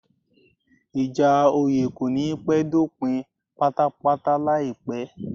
Ìjà oyè kò ní pẹ́ dópin pátápátáláìpẹ́